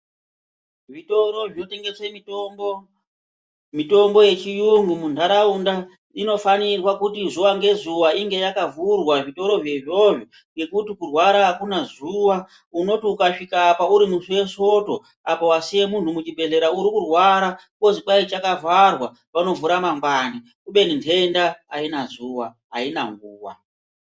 Zvitoro zvinotengese mitombo ,mitombo yechiyungu munharaunda inofanirwa kuti zuwa ngezuwa inge yakavhurwa, zvitoro zvo izvozvo ngekuti kurwara akuna zuwa, unoti ukasvika apa urimusi wesoto apa wasiye munhu muchibhehlera urikurwara wozwi hai chakavharwa vanovhura mangwani kubeni nhenda aina zuwa haina nguva.